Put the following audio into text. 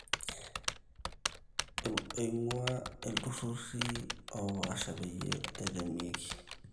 oing`uaa ill`turri oopashaa peyie etemieki